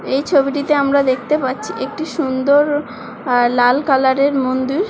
এই ছবিটিতে আমরা দেখতে পাচ্ছি একটি সুন্দর লা-ল কালারের মন্দির।